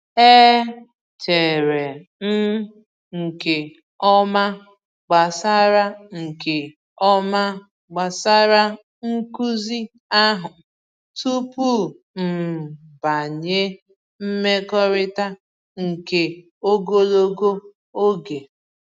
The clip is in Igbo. E chere m nke ọma gbasara nke ọma gbasara nkuzi ahụ tupu m banye mmekọrịta nke ogologo oge.